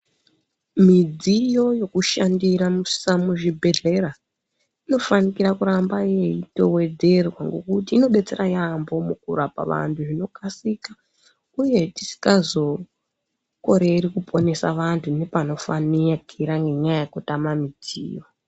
Midziyo yekushandisa muzvibhedhlera inofanikira kuramba yeitowedzerwa ngokuti inodetsera yaambo mukurapa vantu zvinokasika uye tisikazokoreri kuponesa vantu ngepanofanikira ngenyaya yekutama mudziyo.